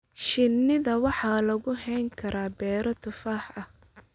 Shinida waxaa lagu hayn karaa beero tufaax ah.